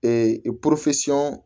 Ee